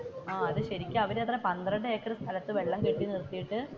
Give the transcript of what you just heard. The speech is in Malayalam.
ആഹ് ശരിക്കും അവർ അത് എന്തോ പന്ത്രെണ്ട് ഏക്കർ സ്ഥലത്തു വെള്ളം കെട്ടി നിർത്തിയിട്ടു.